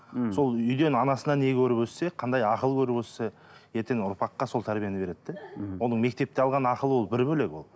мхм сол үйден анасынан не көріп өссе қандай ақыл көріп өссе ертең ұрпаққа сол тәрбиені береді де мхм оның мектепте алған ақылы ол бір бөлек ол